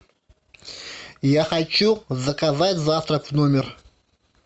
я хочу заказать завтрак в номер